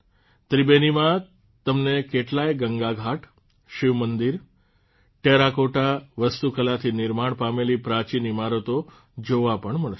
ત્રિબેનીમાં તમને કેટલાય ગંગાઘાટ શિવમંદિર અને ટેરાકોટા વાસ્તુકલાથી નિર્માણ પામેલી પ્રાચીન ઇમારતો જોવા પણ મળશે